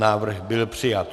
Návrh byl přijat.